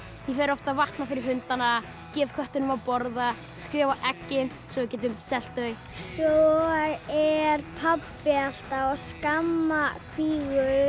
ég fer oft að vatna fyrir hundana gef kettinum að borða skrifa á eggin svo við getum selt þau svo er pabbi alltaf að skamma kvígur